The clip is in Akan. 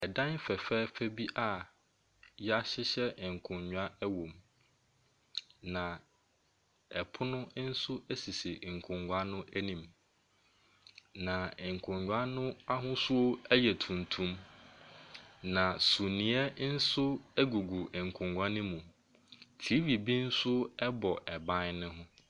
Dan fɛfɛɛfɛ bi a wɔahyehyɛ nkonnwa wɔ mu. Pono nso sisi nkonnwa no anim, na nkonnwa no ahosuo yɛ tuntum. Na sumiiɛ nso gugu nkonnwa no mu. TV bi nso bɔ ban no ho.